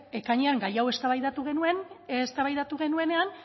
ekainean gai hau eztabaidatu genuenean